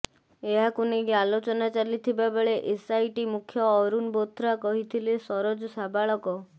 ଏହାକୁ ନେଇ ଆଲୋଚନା ଚାଲିଥିବା ବେଳେ ଏସ୍ଆଇଟି ମୁଖ୍ୟ ଅରୁଣ ବୋଥ୍ରା କହିଥିଲେ ସରୋଜ ସାବାଳକ